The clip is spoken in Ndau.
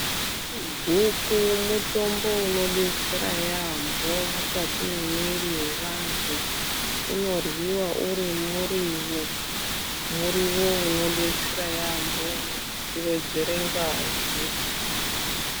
Guku mutombo unobetsera yaambo mukati mwemwiri yevantu. Unorwiva uri murivo, murivo unobetsera yaambo uno vedzere ngazi.